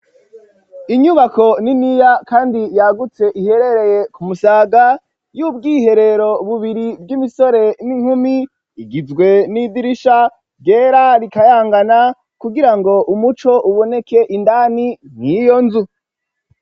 Inyubako niniya, kandi yagutse, iherereye ku Musaga, y'ubwiherero bubiri, bw'imisore n'inkumi; igizwe n'idirisha ryera, rikayangana, kugira ngo umuco, uboneke indani, mw'iyo nzu.